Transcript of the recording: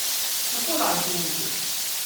Kako lažni upi!